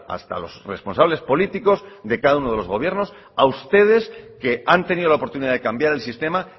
hasta los responsables políticos de cada uno de los gobiernos a ustedes que han tenido la oportunidad de cambiar el sistema